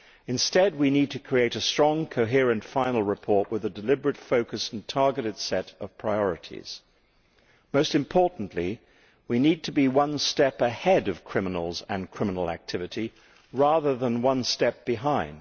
Instead, we need to create a strong, coherent final report with a deliberate focus and targeted set of priorities. Most importantly, we need to be one step ahead of criminals and criminal activity, rather than one step behind.